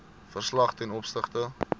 verslag ten opsigte